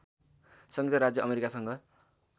संयुक्त राज्य अमेरिकासँग